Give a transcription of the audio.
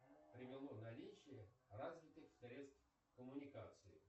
привело наличие развитых средств коммуникации